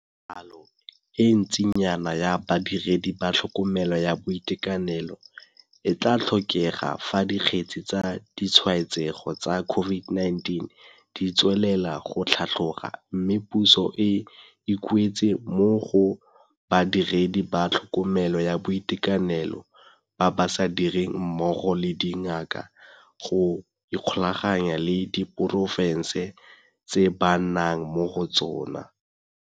Palo e ntsinyana ya badiredi ba tlhokomelo ya boitekanelo e tlatlhokega fa dikgetse tsa ditshwaetsego tsa COVID-19 di tswelela go tlhatloga mme puso e ikuetse mo go badiredi ba tlhokomelo ya boitekanelo ba ba sa direng mmogo le dingaka go ikgolaganya le diporofense tse ba nnang mo go tsona.